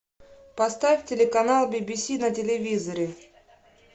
поставь телеканал би би си на телевизоре